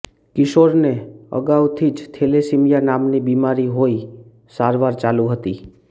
કિશોરને અગાઉથી જ થેલેસેમિયા નામની બિમારી હોઇ સારવાર ચાલુ હતી